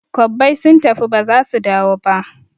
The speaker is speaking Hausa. Kwabbai sun tafi ba zasu dawo ba